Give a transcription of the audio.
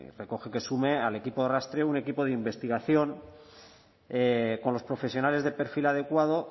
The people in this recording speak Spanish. recoge que sume al equipo de rastreo un equipo de investigación con los profesionales del perfil adecuado